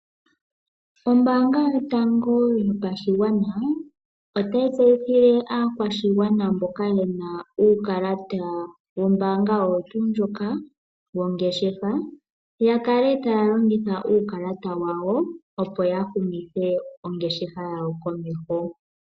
Ombanga yotango yopashigwana otayi tseyithile aakwashigwana mboka yena uukalata wombanga oyo tundjoka wongeshefa ya kale taya longitha uukalata wa wo, opoya humithe ongeshefa yawo komeho.